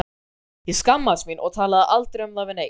Ég skammaðist mín og talaði aldrei um það við neinn.